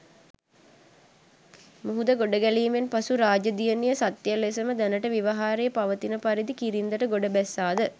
මුහුද ගොඩගැලීමෙන් පසු රාජ දියණිය සත්‍ය ලෙසම දැනට ව්‍යවහාරයේ පවතින පරිදි කිරින්දට ගොඩ බැස්සාද?